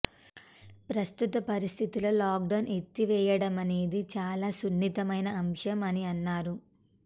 ప్రస్తుత పరిస్థితుల్లో లాక్డౌన్ ఎత్తివేయడమనేది చాలా సున్నితమైన అంశం అని అన్నారు